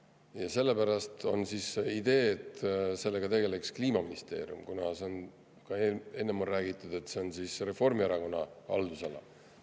Ja sellepärast ongi idee, et sellega tegeleks Kliimaministeerium – on ju ka enne räägitud, et see on Reformierakonna haldusala.